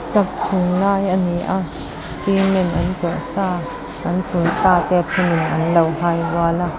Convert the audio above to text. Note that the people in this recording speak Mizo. slab chhung lai ani a cement an chawh sa an chhun sa te a then in anlo hai rual a.